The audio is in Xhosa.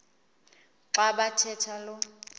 xa bathetha lo